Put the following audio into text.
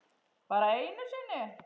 Bara einu sinni?